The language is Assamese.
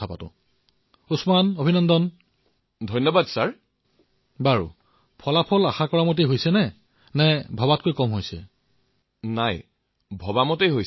স্নাতক উত্তীৰ্ণ